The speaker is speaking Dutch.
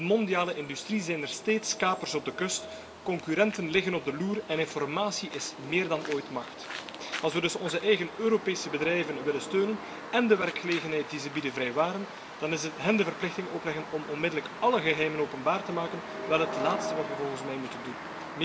In de mondiale industrie zijn er steeds kapers op de kust. Concurrenten liggen op de loer en informatie is meer dan ooit macht. Als we dus onze eigen Europese bedrijven willen steunen en de werkgelegenheid die ze bieden vrijwaren, dan is hun de verplichting opleggen om onmiddellijk alle geheimen openbaar te maken wel het laatste wat we volgens mij moeten doen.